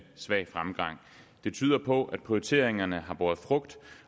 svag fremgang det tyder på at prioriteringerne har båret frugt